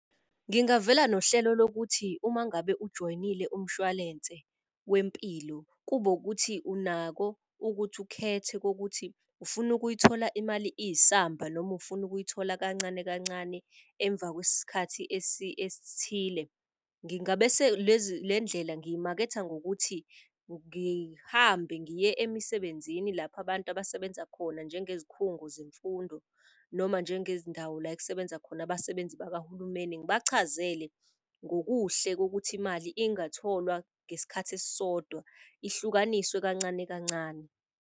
Ngingavela nohlelo lokuthi uma ngabe ujoyinile umshwalense wempilo, kube ukuthi unako ukuthi ukhethe kokuthi ufuna ukuyithola imali iyisamba noma ufuna ukuyithola kancane kancane emva kwesikhathi esithile. Ngingabe le ndlela ngiyimaketha ngokuthi ngihambe ngiye emisebenzini lapho abantu abasebenza khona njenge zikhungo zemfundo, noma njenge zindawo la ekusebenza khona abasebenzi bakahulumeni. Ngibachazele ngokuhle kokuthi imali ingatholwa ngesikhathi esisodwa ihlukanisiwe, kancane kancane.